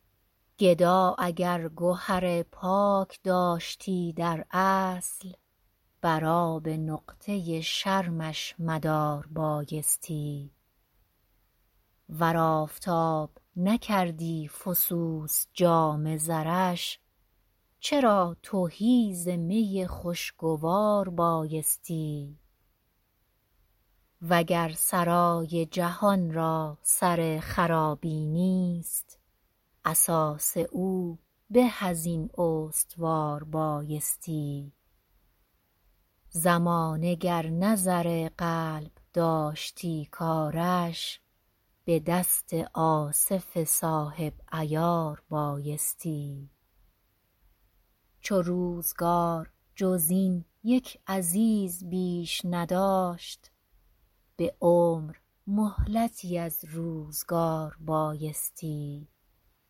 گدا اگر گهر پاک داشتی در اصل بر آب نقطه شرمش مدار بایستی ور آفتاب نکردی فسوس جام زرش چرا تهی ز می خوشگوار بایستی وگر سرای جهان را سر خرابی نیست اساس او به از این استوار بایستی زمانه گر نه زر قلب داشتی کارش به دست آصف صاحب عیار بایستی چو روزگار جز این یک عزیز بیش نداشت به عمر مهلتی از روزگار بایستی